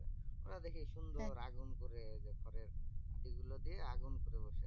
ওরা দেখি সুন্দর আগুন করে ঐযে খড়ের করি গুলো দিয়ে আগুন করে বসে আছে।